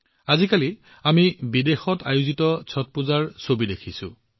আজিকালি আমি বিদেশতো ছট পূজাৰ কিমান বিশাল ছবি দেখিছো